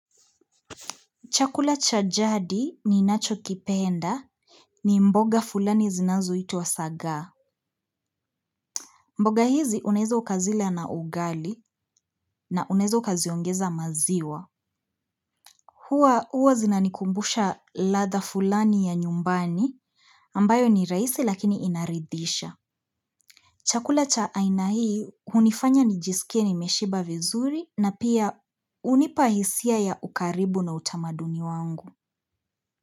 Chakula cha jadi ninacho kipenda ni mboga fulani zinazo itwa sagaa. Mboga hizi unaeza ukazila na ugali na unaeza ukaziongeza maziwa. Huwa uwa zinanikumbusha ladha fulani ya nyumbani ambayo ni raisi lakini inaridhisha. Chakula cha aina hii hunifanya nijisikie ni meshiba vizuri na pia unipa hisia ya ukaribu na utamaduni wangu.